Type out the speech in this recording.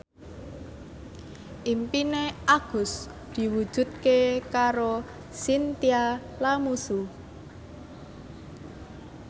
impine Agus diwujudke karo Chintya Lamusu